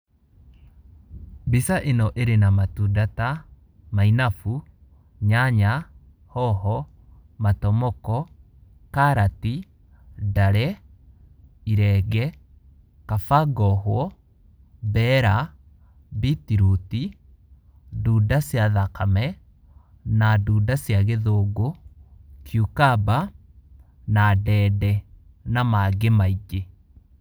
Mbica ĩno ĩrĩ na matunda ta mainabu, nyanya, hoho, matomoko, karati, ndare, irenge, kaba ngohwo, mbera, beetroot, ndunda cia thakame, na ndunda cia gĩthũngũ cucumber na ndende na mangĩ maingĩ.